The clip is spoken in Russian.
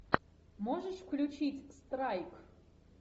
можешь включить страйк